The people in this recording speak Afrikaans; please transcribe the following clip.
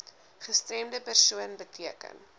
gestremde persoon beteken